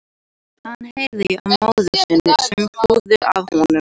Hann heyrði í móður sinni sem hlúði að honum